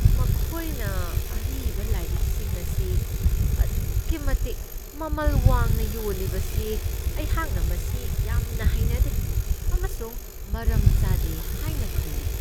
ꯃꯈꯣꯏꯅ ꯑꯔꯤꯕ ꯂꯥꯏꯔꯤꯛꯁꯤꯡ ꯑꯁꯤ ꯑꯗꯨꯛꯀꯤ ꯃꯇꯤꯛ ꯃꯃꯜ ꯋꯥꯡꯅ ꯌꯣꯜꯂꯤꯕꯁꯤ ꯑꯩꯍꯥꯛꯅ ꯃꯁꯤ ꯌꯥꯝꯅ ꯍꯩꯅꯗꯦ ꯑꯃꯁꯨꯡ ꯃꯔꯝ ꯆꯥꯗꯦ ꯍꯥꯏꯅ ꯈꯜꯂꯤ ꯫